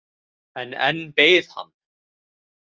En enn beið hann.